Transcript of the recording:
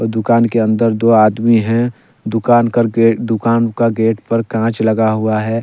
दुकान के अन्दर दो आदमी है दुकान कर दुकान के गेट पर काँच लगा हुआ है।